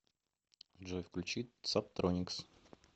джой включить сабтроникс